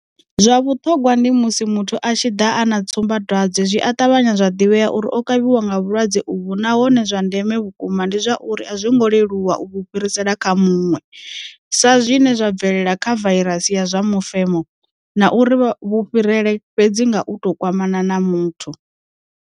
Zwa vhuṱhogwa ndi musi muthu a tshi ḓa a na tsumba dwadze zwi a ṱavhanya zwa ḓivhea uri o kavhiwa nga vhulwadze uvhu nahone zwa ndeme vhukuma ndi zwa uri a zwi ngo leluwa u vhu fhirisela kha muṅwe, sa zwine zwa bvelela kha vairasi ya zwa mufemo, na uri vhu fhirela fhedzi nga u tou kwamana na muthu.